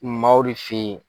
Maaw de fɛ ye.